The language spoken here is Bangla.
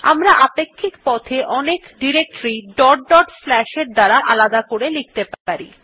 আমরা আপেক্ষিক পথ এ অনেক এর দ্বারা আলাদা করে লিখতে পারি